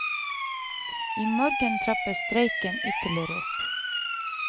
I morgen trappes streiken ytterligere opp.